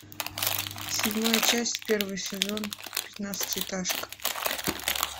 седьмая часть первый сезон пятнадцатиэтажка